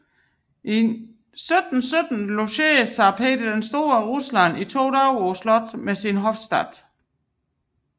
I 1717 logerede zar Peter den store af Rusland i to dage på slottet med sin hofstat